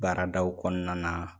Baaradaw kɔnɔna na.